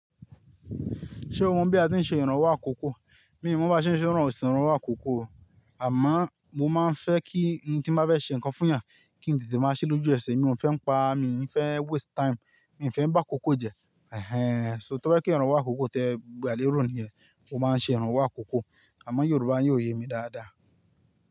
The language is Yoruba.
Ṣé o mọ̀ bí a ti ń ṣe ìrànwọ́ àkókò? Mi ò mọ̀ bí a ṣe ń ṣe ìrànwọ́, ò sì ń rànwọ́ àkókò o. Àmọ́ mo máa ń fẹ́ kí ohun tí mó fẹ́ ṣe nǹkan fún yàn, kí n tètè máa ṣe lójú ẹsẹ̀. Mi ò fẹ́ ń pa, mi ò fẹ́ waste time, mi ò fẹ́ ń bá àkókò jẹ́. Ẹ̀hẹn. So tó fẹ́ kí ìrànwọ́ àkókò tẹ gbà lé rò nìyẹn, mo máa ń ṣe ìrànwọ́ àkókò. Àmọ́ Yorùbá yóò yé mi dáadáa.